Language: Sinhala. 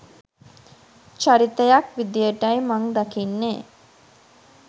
චරිතයක් විදියටයි මං දකින්නෙ.